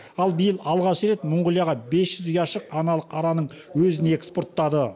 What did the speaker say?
ал биыл алғаш рет мұңғылияға бес жүз ұяшық аналық араның өзін экспорттады